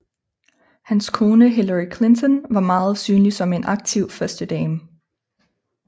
Hans kone Hillary Clinton var meget synlig som en aktiv førstedame